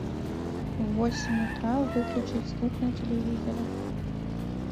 в восемь утра выключить звук на телевизоре